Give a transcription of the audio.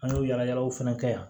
An y'o yalayalaw fana kɛ yan